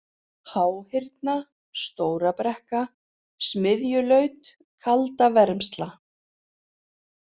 Háhyrna, Stóra-Brekka, Smiðjulaut, Kaldavermsla